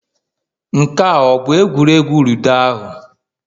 Nke a ọ bụ egwuregwu ludo ahụ